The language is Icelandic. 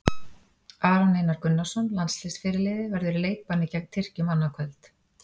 Aron Einar Gunnarsson, landsliðsfyrirliði, verður í leikbanni gegn Tyrkjum annað kvöld.